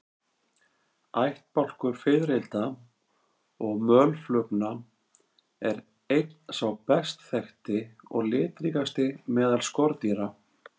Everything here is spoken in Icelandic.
Ættbálkur fiðrilda og mölflugna er einn sá best þekkti og litríkasti meðal skordýra.